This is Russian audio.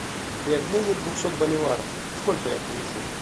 при обмене двухсот боливаров сколько я получу